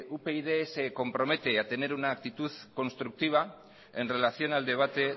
upyd se compromete a tener una aptitud constructiva en relación al debate